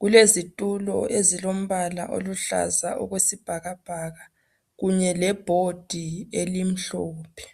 kulezitulo ezilompala oluhlaza okwesibhakabhaka kunye le bhodi elimhlophe